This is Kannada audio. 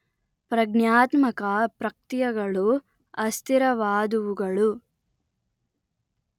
ಪ್ರಜ್ಞಾತ್ಮಕ ಪ್ರಕ್ತಿಯೆಗಳು ಅಸ್ಥಿರವಾದುವುಗಳು